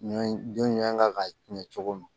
Ɲɔ jɔn ɲɔn kan ka tiɲɛ cogo min